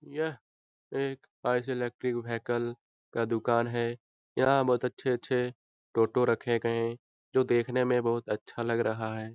यह एक electrical vehicle का दुकान है यहाँ बहुत अच्छे-अच्छे टोटो रखे गए जो देखने में बहुत अच्छा लग रहा है ।